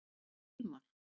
Hilmar